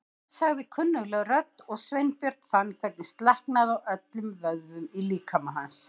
sagði kunnugleg rödd og Sveinbjörn fann hvernig slaknaði á öllum vöðvum í líkama hans.